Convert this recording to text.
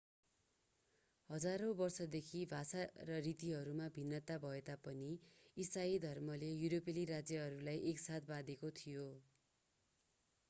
हजारौं वर्षदेखि भाषा र रीतिहरूमा भिन्नता भएतापनि इसाई धर्मले युरोपेली राज्यहरूलाई एकसाथ बाँधेको थियो